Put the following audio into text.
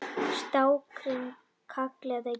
Strákarnir kalla Gerði